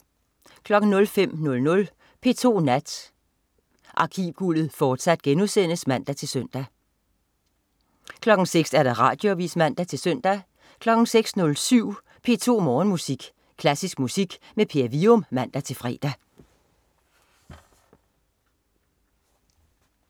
05.00 P2 Nat. Arkivguldet, fortsat* (man-søn) 06.00 Radioavis (man-søn) 06.07 P2 Morgenmusik. Klassisk musik med Per Wium (man-fre)